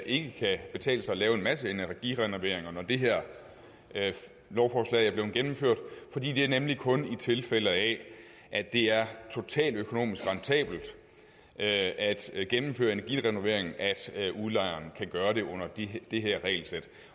ikke kan betale sig at lave en masse energirenoveringer når det her lovforslag er blevet gennemført fordi det nemlig kun er i tilfælde af at det er totaløkonomisk rentabelt at gennemføre energirenoveringen at udlejere kan gøre det under det her regelsæt